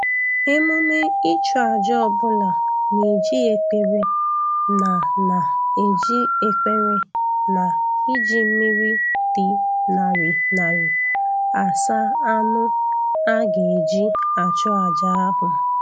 Emume ịchụ aja ọbụla na-eji ekpere na na-eji ekpere na iji mmiri dị ṅarị ṅarị asa anụ a ga-eji achụ aja ahụ